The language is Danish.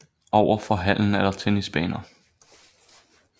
Over for hallen er der tennisbaner